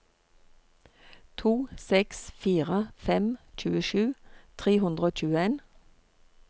to seks fire fem tjuesju tre hundre og tjueen